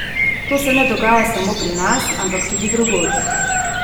To se ne dogaja samo pri nas, ampak tudi drugod.